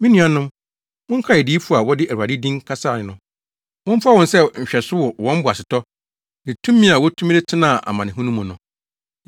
Me nuanom, monkae adiyifo a wɔde Awurade din kasae no. Momfa wɔn sɛ nhwɛso wɔ wɔn boasetɔ ne tumi a wotumi de tenaa amanehunu mu no.